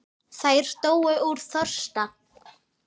Þær dóu úr þorsta.